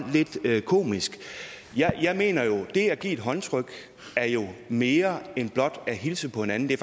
lidt komisk jeg mener jo at det at give et håndtryk er mere end blot at hilse på hinanden det